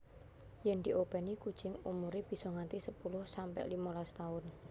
Yen diopèni kucing umuré bisa nganti sepuluh sampe limolas taun